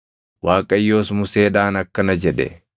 Waaqayyos Museedhaan akkana jedhe;